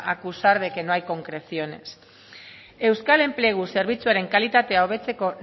acusar de que no hay concreciones euskal enplegu zerbitzuaren kalitatea hobetzeko